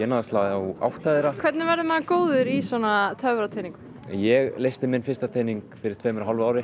að slá átta þeirra hvernig verður maður góður í svona ég leysti minn fyrsta tening fyrir tveimur og hálfu ári